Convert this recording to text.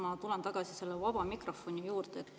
Ma tulen tagasi vaba mikrofoni juurde.